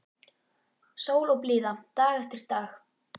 Sól og blíða dag eftir dag.